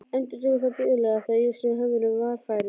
Endurtekur það blíðlega þegar ég sný höfðinu varfærin.